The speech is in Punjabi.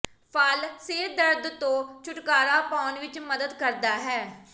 ਫਲ ਸਿਰ ਦਰਦ ਤੋਂ ਛੁਟਕਾਰਾ ਪਾਉਣ ਵਿਚ ਮਦਦ ਕਰਦਾ ਹੈ